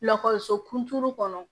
Lakɔliso kuntigi kɔnɔ